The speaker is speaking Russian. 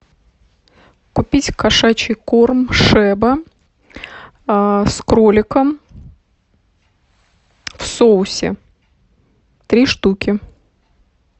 купить кошачий корм шеба с кроликом в соусе три штуки